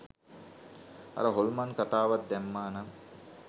අර හොල්මන් කතාවත් දැම්මා නම්